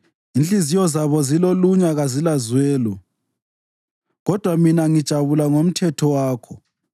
Inhliziyo zabo zilolunya kazilazwelo, kodwa mina ngijabula ngomthetho wakho.